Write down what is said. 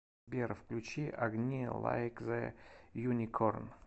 сбер включи огни лайкзеюникорн